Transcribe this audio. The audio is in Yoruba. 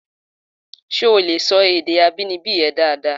Ṣé o lè sọ èdè abínibí rẹ dáadáa?